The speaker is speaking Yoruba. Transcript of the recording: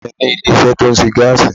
Ìyá à mi ní ilé isé tó ńṣe gáàsì